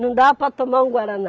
Não dá para tomar um Guaraná.